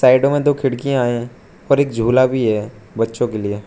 साइडों में दो खिड़कियां हैं और एक झूला भी है बच्चों के लिए।